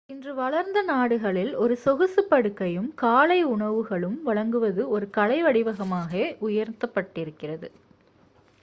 இன்று வளர்ந்த நாடுகளில் ஒரு சொகுசு படுக்கையும் காலை உணவுகளும் வழங்குவது ஒரு கலை வடிவமாகவே உயர்த்தப் பட்டிருக்கிறது